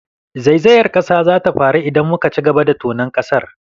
Zaizayar ƙasa za ta faru idan muka ci gaba da tonon ƙasar.